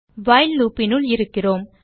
while loop இனுள் இருக்கிறோம்